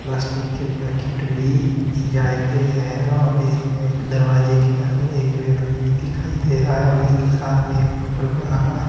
Plastic के packet भी सिया के है और इसमें एक दरवाजे के अन्दर एक व्यक्ति भी दिखाई दे रहा है और इसके साथ में एक होटल बना हुआ है।